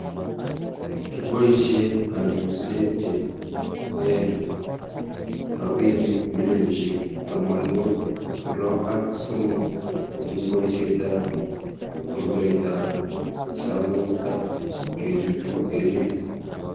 kiboisie kantusiek che ter robinik bilionisiek tamanwokik lo ak somok eng' boisietab rutoitab sang'ut ak kechutu emet.